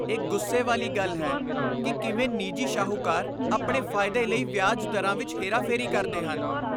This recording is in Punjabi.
ਇਹ ਗੁੱਸੇ ਵਾਲੀ ਗੱਲ ਹੈ ਕਿ ਕਿਵੇਂ ਨਿੱਜੀ ਸ਼ਾਹੂਕਾਰ ਆਪਣੇ ਫਾਇਦੇ ਲਈ ਵਿਆਜ ਦਰਾਂ ਵਿੱਚ ਹੇਰਾਫੇਰੀ ਕਰਦੇ ਹਨ।